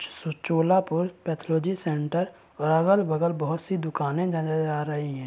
Cholapur pathology centre और अगल-बगल बहोत सी दुकानें नजर आ रही हैं।